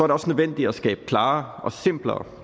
det også nødvendigt at skabe klarere og simplere